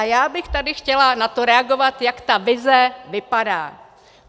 A já bych tady chtěla na to reagovat, jak ta vize vypadá.